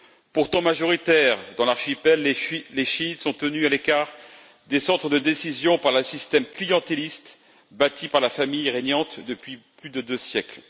Pourtant majoritaires dans l'archipel, les chiites sont tenus à l'écart des centres de décision par un système clientéliste bâti par la famille régnante depuis plus de deux siècles.